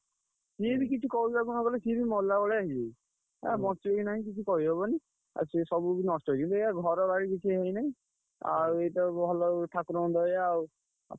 ସିଏ ବି କିଛି କହିବାକୁ ନ ଗଲେ ସିଏ ବି ମଲା ଭଳିଆ ହେଇଯାଇଛି। ବଞ୍ଚିବ କି ନାଇଁ କିଛି କହି ହବନି ଆଉ ସିଏ ସବୁ ବି ନଷ୍ଟ ହେଇଛି ।